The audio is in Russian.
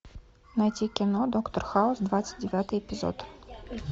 найти кино доктор хаус двадцать девятый эпизод